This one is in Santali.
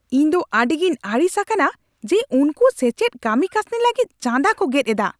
ᱤᱧᱫᱚ ᱟᱹᱰᱤᱜᱤᱧ ᱟᱹᱲᱤᱥ ᱟᱠᱟᱱᱟ ᱡᱮ ᱩᱱᱠᱩ ᱥᱮᱪᱮᱫ ᱠᱟᱹᱢᱤ ᱠᱟᱹᱥᱱᱤ ᱞᱟᱹᱜᱤᱫ ᱪᱟᱸᱫᱟ ᱠᱚ ᱜᱮᱫ ᱮᱫᱟ ᱾